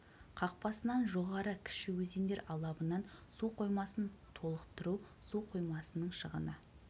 қақпасынан жоғары кіші өзендер алабынан су қоймасын толықтыру су қоймасының шығыны